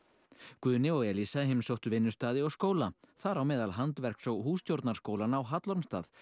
Guðni og Eliza heimsóttu vinnustaði og skóla þar á meðal handverks og hússtjórnarskólann á Hallormsstað